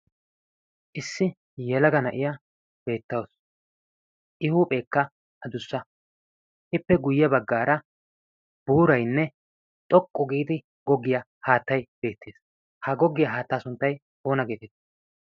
Issi yelaga na'iya betawusu. i huuphekka aduusa. ippe guy baggaara buurayne xoqqu gidi gogiya haataay beetees. Ha gogiya haataa sunttay oone?